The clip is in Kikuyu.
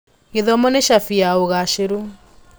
Gĩthomo nĩ cabi ya ũgaacĩru.